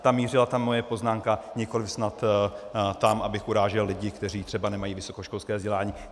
Tam mířila ta moje poznámka, nikoliv snad tam, abych urážel lidi, kteří třeba nemají vysokoškolské vzdělání.